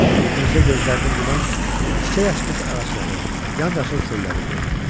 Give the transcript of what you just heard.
Mirzə gözlərini yuman kimi çiçək açmış ağacları, yamyaşıl çölləri gördü.